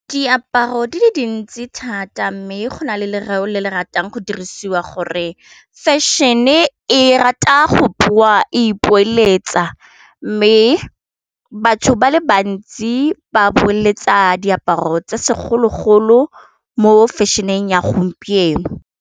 Diaparo di le dintsi thata mme go na le lerao le le ratang go dirisiwa gore fashion-e rata go bua e e poeletsa, mme batho ba le bantsi ba boeletsa diaparo tsa segologolo mo fashion-eng ya gompieno.